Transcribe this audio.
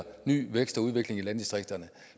ny vækst og udvikling i landdistrikterne